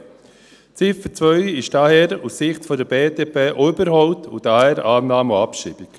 Die Ziffer 2 ist daher aus Sicht der BDP auch überholt, und daher Annahme und Abschreibung.